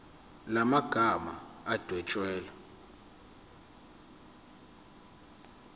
la magama adwetshelwe